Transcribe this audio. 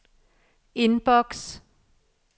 indboks